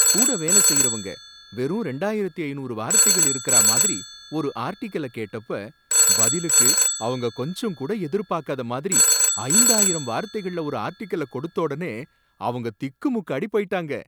கூட வேலசெய்யறவங்க வெறும் ரெண்டாயிரத்து ஐநூறு வார்த்தைகள் இருக்கறா மாதிரி ஒரு ஆர்டிகல கேட்டப்ப, பதிலுக்கு அவங்க கொஞ்சம் கூட எதிர்பாக்காத மாதிரி ஐந்தாயிரம் வார்த்தைகள்ல ஒரு ஆர்டிகல கொடுத்தஒடனே அவங்க திக்குமுக்காடி போயிட்டாங்க.